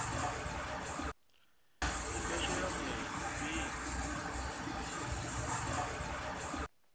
i do shela mulenzhe fhedzi